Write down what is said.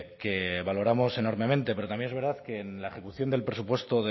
que valoramos enormemente pero también es verdad que en la ejecución del presupuesto